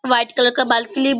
white colour का balcony --